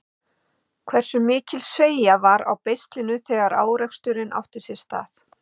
Hversu mikil sveigja var á beislinu þegar áreksturinn átti sér stað?